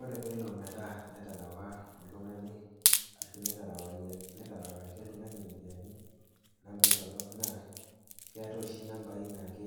Ore peelo metaa eterewa oltung'ani ashu neterewakaki oltung'ani iropiani torok naa keatai oshi inampai naake